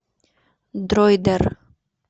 дройдер